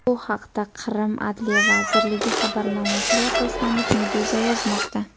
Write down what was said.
Bu haqda, Qrim adliya vazirligi xabarnomasiga asoslanib, Meduza yozmoqda .